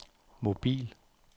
mobil